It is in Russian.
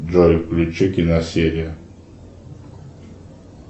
джой включи киносерия